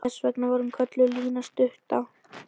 Þess vegna var hún kölluð Lína stutta.